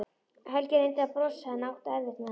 Helgi reyndi að brosa en átti erfitt með það.